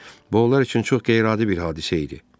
Bu onlar üçün çox qeyri-adi bir hadisə idi.